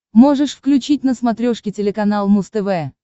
можешь включить на смотрешке телеканал муз тв